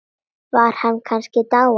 Var hann kannski dáinn?